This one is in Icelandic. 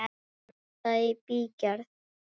Er það í bígerð?